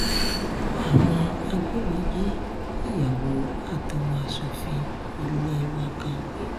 àwọn agbébọn jí ìyàwó àtọmọ asòfin ilé wa kan gbé